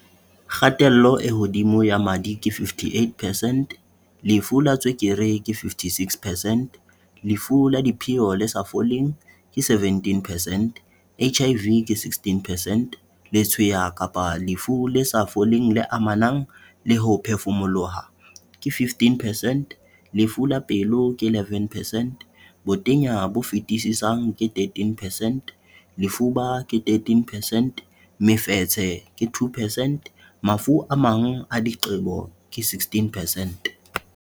Kgatello e hodimo ya madi, ke 58 percent Lefu la tswekere, ke 56 percent Lefu la dipheo le sa foleng, ke 17 percent HIV, ke 16 percent Letshweya kapa lefu le sa foleng le amanang le ho phefumoloha, ke 15 percent Lefu la pelo, ke 11 percent Botenya bo fetisisang, ke 13 percent Lefuba, ke 13 percent Mofetshe, ke 2 percent Mafu a mang a diqebo, ke 16 precent.